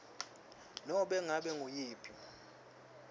nobe ngabe nguyiphi